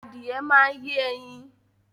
Adìẹ máa yẹ ẹyin